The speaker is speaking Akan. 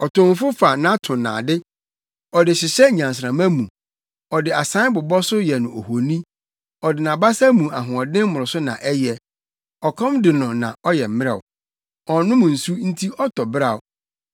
Ɔtomfo fa nʼatonnade ɔde hyehyɛ nnyansramma mu; ɔde asae bobɔ so yɛ no ohoni, ɔde nʼabasa mu ahoɔden mmoroso na ɛyɛ; ɔkɔm de no na ɔyɛ mmrɛw; ɔnnom nsu nti ɔtɔ beraw.